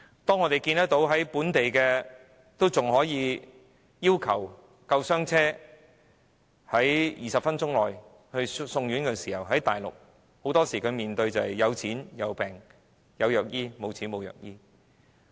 當我們看到本地的長者還可以要求救護車在20分鐘內把他們送院，在內地很多時候面對的是"有錢有病有藥醫，沒錢沒藥醫"。